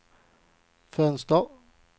fönster